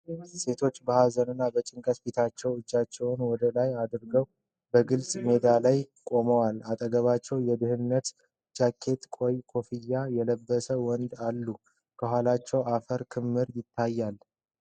ሴቶች በሐዘንና በጭንቀት ፊታቸውንና እጃቸውን ወደ ላይ አድርገው በግልጽ ሜዳ ላይ ቆመዋል። አጠገባቸው የደህንነት ጃኬትና ቀይ ኮፍያ የለበሱ ወንዶች አሉ፤ ከኋላቸው የአፈር ክምር ይታያል።